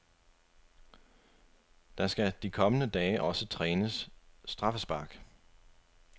Der skal de kommende dage også trænes straffespark.